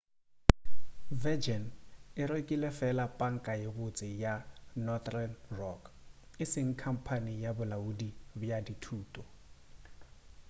virgin e rekile fela panka ye botse' ya northern rock e seng khamphane ya bolaodi bja dithoto